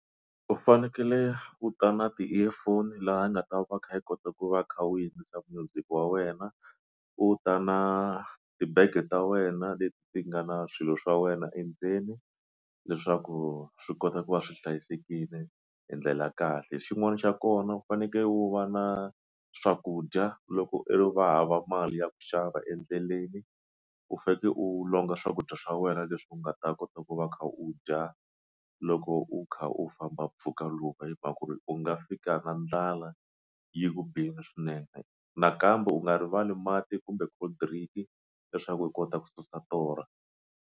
U fanekele u ta na ti-earphone laha nga ta va kha yi kota ku va u kha u yingisela music wa wena u ta na tibege ta wena leti ti nga na swilo swa wena endzeni leswaku swi kota ku va swi hlayisekile hi ndlela kahle xin'wana xa kona u fanekele u va na swakudya loko u ri va hava mali ya ku xava endleleni u faneke u longa swakudya swa wena leswi u nga ta kota ku va u kha u dya loko u kha u famba mpfhuka lowu hi mhaka ku ri u nga fika na ndlala yi ku bile swinene nakambe u nga rivali mati kumbe cold drink leswaku u kota ku susa torha.